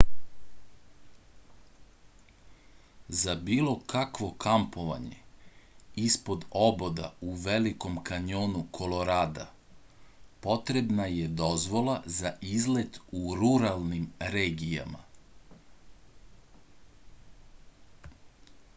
za bilo kakvo kampovanje ispod oboda u velikom kanjonu kolorada potrebna je dozvola za izlet u ruralnim regijama